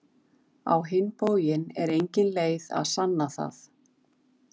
Á hinn bóginn er engin leið að sanna það.